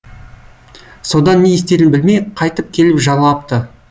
содан не істерін білмей қайтып келіп жалапты